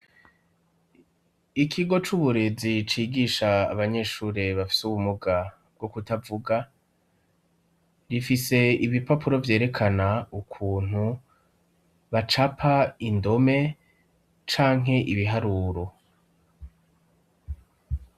Ikigo c'uburezi cigisha abanyeshuri bafise ubumuga bwo kutavuga, rifise ibipapuro vyerekana ukuntu bacapa indome canke ibiharuro.